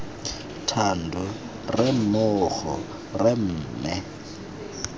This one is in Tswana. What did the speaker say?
thando re mmogo rra mme